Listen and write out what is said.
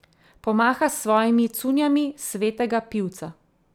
Pomaha s svojimi cunjami svetega pivca.